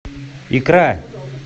икра